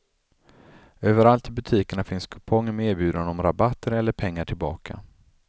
Överallt i butikerna finns kuponger med erbjudande om rabatter eller pengar tillbaka.